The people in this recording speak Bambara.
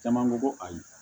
Caman ko ko ayi